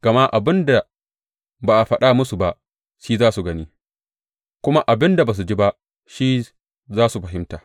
Gama abin da ba a faɗa musu ba, shi za su gani, kuma abin da ba su ji ba, shi za su fahimta.